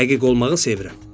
Dəqiq olmağı sevirəm.